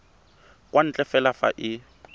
kwa ntle fela fa e